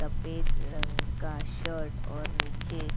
सफेद रंग का शर्ट और नीचे.